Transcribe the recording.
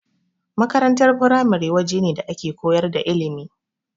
Makarantar firamare wajene da ake koyar da ilimi.